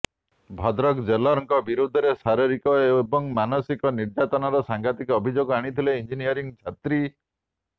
ଭଦ୍ରକ ଜେଲ୍ରଙ୍କ ବିରୋଧରେ ଶାରୀରିକ ଏବଂ ମାନସିକ ନିର୍ଯାତନାର ସାଂଘାତିକ ଅଭିଯୋଗ ଆଣିଥିଲେ ଇଂଜିନିୟରିଂ ଛାତ୍ରୀ